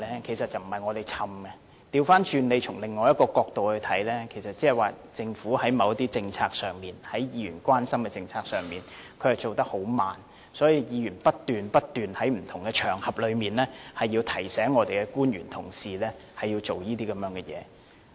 其實不是我們長氣，大家可以從另一個角度看，換言之政府在某些議員關心的政策上進展緩慢，所以議員不斷在不同場合提醒我們的官員要進行這些工作。